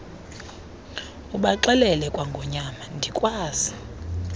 ubaxelele kwangonyama ndikwazi